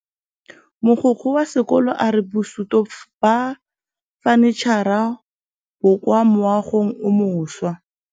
Mogokgo wa sekolo a re bosutô ba fanitšhara bo kwa moagong o mošwa.